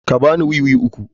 Ka ba ni wiwi uku.